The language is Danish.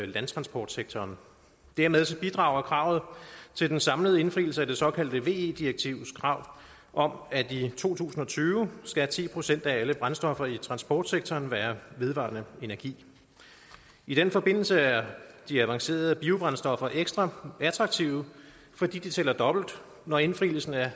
landtransportsektoren dermed bidrager kravet til den samlede indfrielse af det såkaldte ve direktivs krav om at i to tusind og tyve skal ti procent af alle brændstoffer i transportsektoren være vedvarende energi i den forbindelse er de avancerede biobrændstoffer ekstra attraktive fordi de tæller dobbelt når indfrielsen af